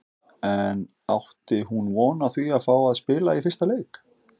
En átti hún von á að fá að spila í fyrsta leik?